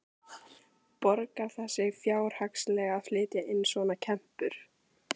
Borgar það sig fjárhagslega að flytja inn svona kempur?